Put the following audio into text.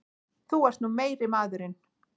Þú ert nú meiri maðurinn!